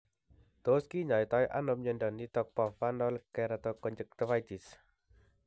Tos kinyoitoi ano miondo nitok po Vernal keratoconjunctivitis